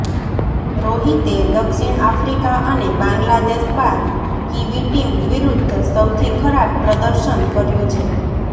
રોહિતે દક્ષિણ આફ્રિકા અને બાંગ્લાદેશ બાદ કીવી ટીમ વિરુદ્ધ સૌથી ખરાબ પ્રદર્શન કર્યુ છે